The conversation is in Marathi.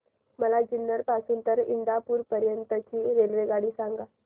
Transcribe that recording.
मला जुन्नर पासून तर इंदापूर पर्यंत ची रेल्वेगाडी सांगा